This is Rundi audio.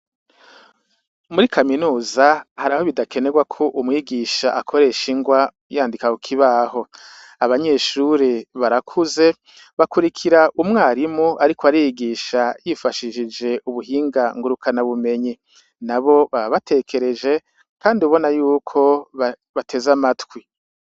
Muri kaminuza hari aho bidakenerwa ko umwigisha akoresha ingwa yandika kukibaho abanyeshuri barakuze bakurikira umwarimu, ariko arigisha yifashishije ubuhinga ngurukana bumenyi na bo babatekereje, kandi ubona yuko batezae matwi.